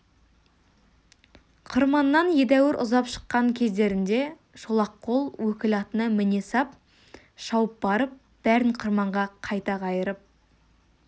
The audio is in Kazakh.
қырманнан едәуір ұзап шыққан кездерінде шолақ қол өкіл атына міне сап шауып барып бәрін қырманға қайта қайырып